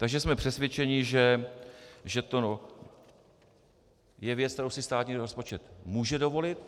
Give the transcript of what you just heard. Takže jsme přesvědčeni, že to je věc, kterou si státní rozpočet může dovolit.